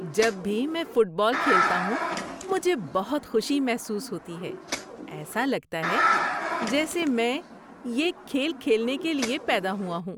جب بھی میں فٹ بال کھیلتا ہوں، مجھے بہت خوشی محسوس ہوتی ہے۔ ایسا لگتا ہے جیسے میں یہ کھیل کھیلنے کے لیے پیدا ہوا ہوں۔